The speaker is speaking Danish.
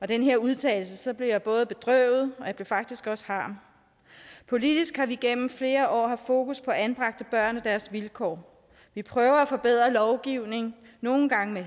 den udtalelse blev jeg både bedrøvet og jeg blev faktisk også harm politisk har vi gennem flere år haft fokus på anbragte børn og deres vilkår vi prøver at forbedre lovgivningen nogle gange med